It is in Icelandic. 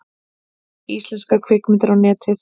Íslenskar kvikmyndir á Netið